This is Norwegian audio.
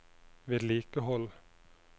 vedlikehold